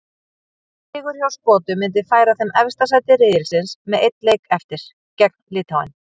Sigur hjá Skotum myndi færa þeim efsta sæti riðilsins með einn leik eftir, gegn Litháen.